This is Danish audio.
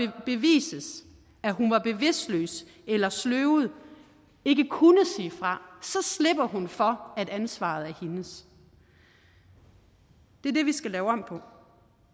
bevises at hun var bevidstløs eller sløvet ikke kunne sige fra så slipper hun for at ansvaret er hendes det er det vi skal lave om på